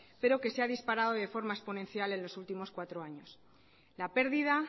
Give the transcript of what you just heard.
pero que se ha disparado de forma exponencial en los últimos cuatro años la pérdida